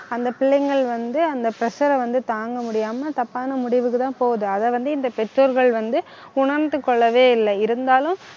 அந்த பிள்ளைகள் வந்து, அந்த pressure அ வந்து தாங்க முடியாம தப்பான முடிவுக்குதான் போகுது. அதை வந்து, இந்த பெற்றோர்கள் வந்து உணர்ந்து கொள்ளவே இல்லை இருந்தாலும்